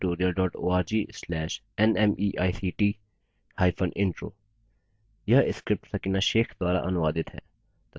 * spoken hyphen tutorial dot org slash nmeict hyphen intro